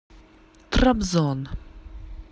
трабзон